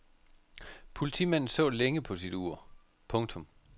Politimanden så længe på sit ur. punktum